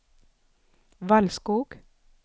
Valskog